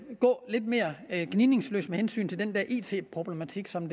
gå lidt mere gnidningsløst med hensyn til den der it problematik som